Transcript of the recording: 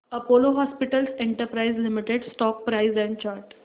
Apollo Hospitals Enterprise Limited stock price and chart